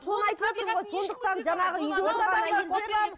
соны айтып отырмын ғой сондықтан жаңағы үйде отырған әйелдер